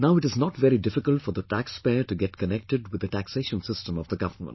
Now it is not very difficult for the taxpayer to get connected with the taxation system of the government